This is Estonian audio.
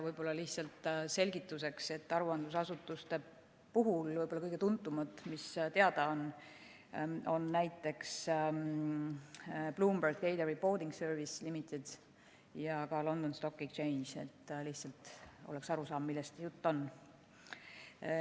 Võib-olla lihtsalt selgituseks, et aruandlusasutustest kõige tuntumad, mis teada on, on näiteks Bloomberg Data Reporting Services Limited ja ka London Stock Exchange – et lihtsalt oleks aru saada, millest jutt on.